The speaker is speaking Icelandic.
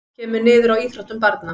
Kemur niður á íþróttum barna